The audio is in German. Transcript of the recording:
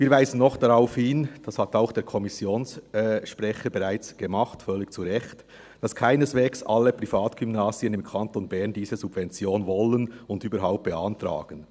Wir weisen noch darauf hin – dies hat auch der Kommissionssprecher bereits völlig zu Recht getan –, dass keineswegs alle Privatgymnasien im Kanton Bern diese Subvention überhaupt wollen und beantragen.